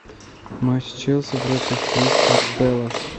матч челси против кристал пелас